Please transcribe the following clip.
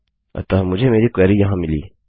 अतः मुझे मेरी क्वेरी यहाँ मिली